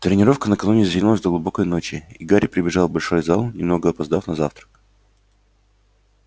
тренировка накануне затянулась до глубокой ночи и гарри прибежал в большой зал немного опоздав на завтрак